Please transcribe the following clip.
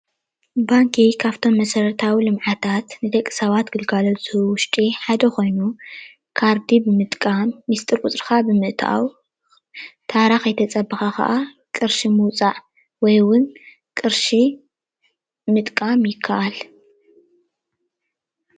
ባንኪ ካብቶም መሰረታዊ ልምዓታት ንደቂ ሰባት ግልጋሎት ዝህቡ ውሽጢ ሓደ ኮይኑ ካርዲ ብምጥቃም ምሽጥር ቁፅርካ ብምእታው ታራ ከይተፀበካ ክዓ ቅርሺ ምውፃእ ወይ እውን ቅርሺ ምጥቃም ይካኣል፡፡